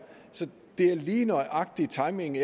så det er lige nøjagtig timingen